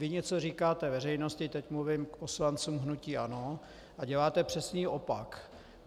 Vy něco říkáte veřejnosti - teď mluvím k poslancům hnutí ANO - a děláte přesný opak.